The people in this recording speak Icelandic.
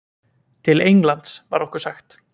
Til Englands, var okkur sagt.